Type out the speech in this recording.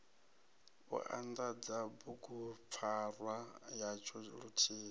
u anḓadza bugupfarwa yatsho luthihi